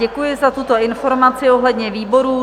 Děkuji za tuto informaci ohledně výborů.